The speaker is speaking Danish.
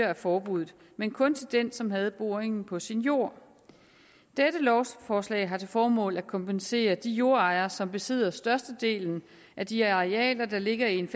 af forbuddet men kun til den som havde boringen på sin jord dette lovforslag har til formål at kompensere de jordejere som besidder størstedelen af de arealer der ligger i en